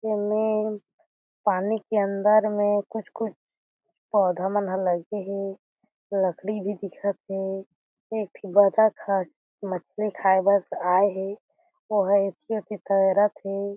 ए में पानी के अंदर में कुछ-कुछ पौधा मन ह लगे हे लकड़ी भी देखत थे एक बतक ह मछली खायबा आए हे ओह ऐति ओती तैरत हे।